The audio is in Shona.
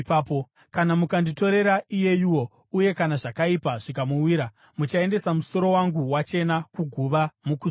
Kana mukanditorera iyeyuwo uye kana zvakaipa zvikamuwira, muchaendesa musoro wangu wachena kuguva mukusuwa.’